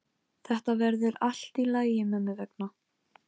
Hún tyllir sér á rúmið sitt með pakkann í höndunum.